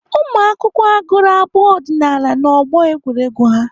Ụmụakwụkwọ agụrụ abụ ọdịnaala ha n'ọgbọ egwuregwu ha?